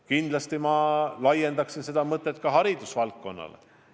Kindlasti ma laiendaksin seda kõike ka hariduse valdkonnale.